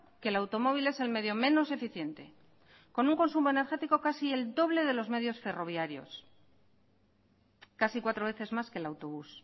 que el automóvil es el medio menos eficiente con un consumo energético casi el doble de los medios ferroviarios casi cuatro veces más que el autobús